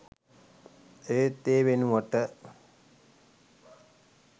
ඒත් ඒ වෙනුවට